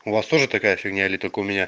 у вас тоже такая фигня или только у меня